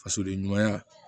Fasoden ɲumanya